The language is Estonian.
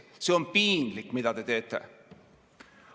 See on piinlik, mida te teete!